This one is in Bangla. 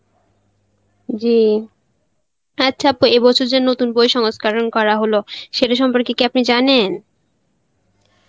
জি আচ্ছা এ বছর যে নতুন বই সংস্করণ করা হলো, এটা সম্পর্কে কি আপনি জানেন?